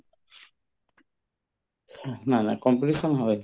নাই নাই competition হয়